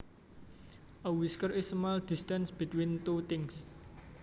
A whisker is a small distance between two things